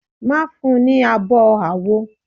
Má fun ní abo àwo.